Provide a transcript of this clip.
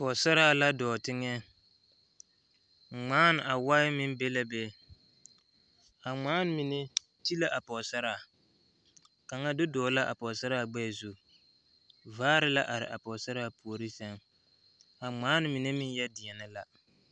pɔgesaraa la dɔɔ teŋɛ a wae meŋ be la be ŋmaane mine ti la a pɔgesaraa kaŋa do dɔgle la a pɔgesara gbɛɛ zu vaare la are a pɔgesara puori sɛŋ a ŋmaane mine meŋ deɛ deɛnɛ la.